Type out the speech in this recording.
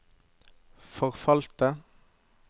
forfalte